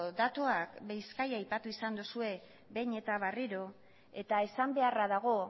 datuak bizkaia aipatu izan duzue behin eta berriro eta esan beharra dago